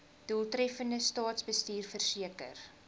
doeltreffende staatsbestuur verseker